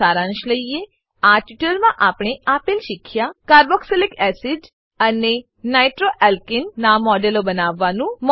ચાલો સારાંશ લઈએ આ ટ્યુટોરીયલમાં આપણે આપેલ શીખ્યા કાર્બોક્સિલિક એસિડ અને નાઇટ્રોઆલ્કાને નાં મોડેલો બનાવવાનું